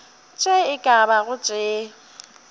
tše e ka bago tše